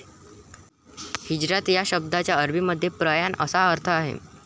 हिजरात या शब्दाचा अरबीमध्ये प्रयाण असा अर्थ आहे.